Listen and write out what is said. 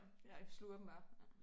Ja sluger dem bare